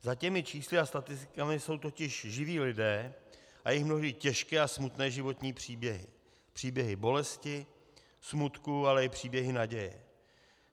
Za těmi čísly a statistikami jsou totiž živí lidé a jejich mnohdy těžké a smutné životní příběhy, příběhy bolesti, smutku, ale i příběhy naděje.